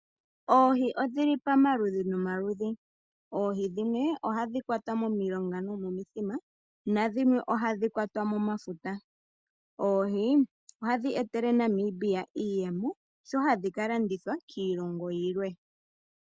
Oohi odhi li pamaludhi nomaludhi. Oohi dhimwe ohadhi kwatwa momilonga nomomithima nadhimwe ohadhi kwatwa momafuta. Oohi ohadhi etele Namibia iiyemo sho hadhi ka landithwa kiilongo yilwe.